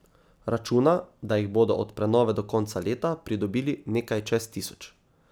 Računa, da jih bodo od prenove do konca leta pridobili nekaj čez tisoč.